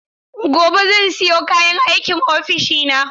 Gobe ​​zan siyo kayan aikin ofishina.